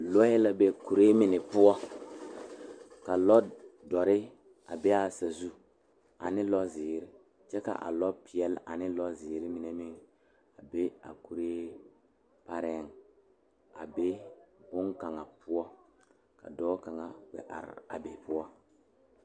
Die poɔ la ka dɔɔba be kaa dɔɔba mine pegle kuri a de pare ne kuri kyɛ ka dankyini sɔglaa meŋ be a saa die naŋ poɔ ka kaŋa zeŋ leɛ o puori kyɛ kyaare a dankyini sɔglaa na.